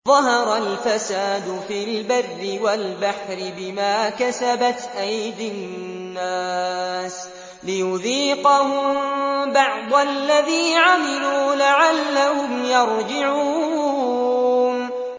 ظَهَرَ الْفَسَادُ فِي الْبَرِّ وَالْبَحْرِ بِمَا كَسَبَتْ أَيْدِي النَّاسِ لِيُذِيقَهُم بَعْضَ الَّذِي عَمِلُوا لَعَلَّهُمْ يَرْجِعُونَ